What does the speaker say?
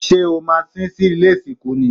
Ṣé o maa sín sí ilé ìsìnkú ni?